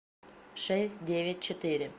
шесть девять четыре